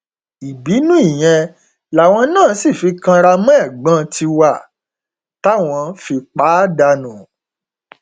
ìbínú ìyẹn làwọn náà sì fi kanra mọ ẹgbọn tiwa táwọn fi pa á dànù